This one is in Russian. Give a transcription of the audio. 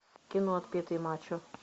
кино отпетый мачо